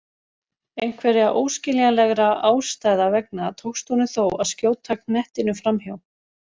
Einhverra óskiljanlegra ástæða vegna tókst honum þó að skjóta knettinum framhjá.